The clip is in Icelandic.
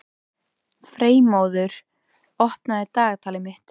Freymóður, opnaðu dagatalið mitt.